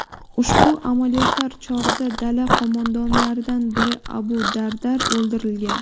Ushbu amaliyotlar chog‘ida dala qo‘mondonlaridan biri Abu Dardar o‘ldirilgan.